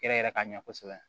Yɛrɛ yɛrɛ ka ɲɛ kosɛbɛ